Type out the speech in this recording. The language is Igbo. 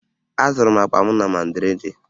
Azụrụ m akpa m na Madrịdị